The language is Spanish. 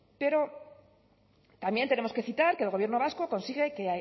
pero también tenemos que citar que el gobierno vasco consigue que